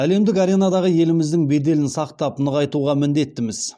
әлемдік аренадағы еліміздің беделін сақтап нығайтуға міндеттіміз